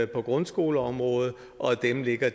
på grundskoleområdet og af dem ligger